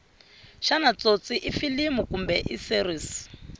shana tsotsi ifilimu kumbe iseries